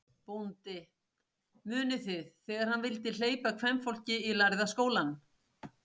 BÓNDI: Munið þið, þegar hann vildi hleypa kvenfólki í Lærða skólann.